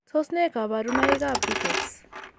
Tos nee kabarunaik ab rickets